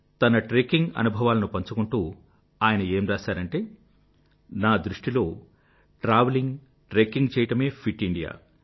తన ట్రెక్కింగ్ అనుభవాలను పంచుకుంటూ ఆయన ఏం రాసారంటే నా దృష్టిలో ట్రావెలింగ్ ట్రెక్కింగ్ చెయ్యడమే ఫిట్ ఇండియా